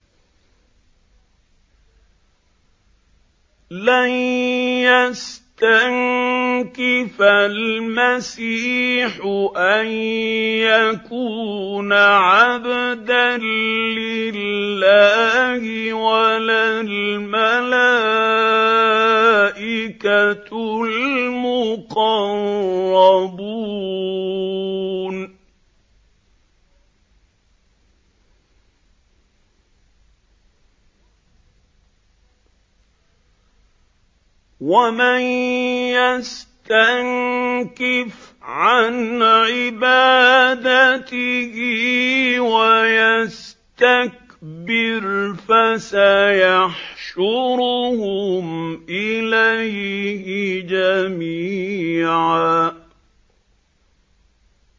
لَّن يَسْتَنكِفَ الْمَسِيحُ أَن يَكُونَ عَبْدًا لِّلَّهِ وَلَا الْمَلَائِكَةُ الْمُقَرَّبُونَ ۚ وَمَن يَسْتَنكِفْ عَنْ عِبَادَتِهِ وَيَسْتَكْبِرْ فَسَيَحْشُرُهُمْ إِلَيْهِ جَمِيعًا